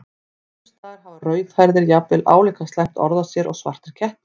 Sums staðar hafa rauðhærðir jafnvel álíka slæmt orð á sér og svartir kettir.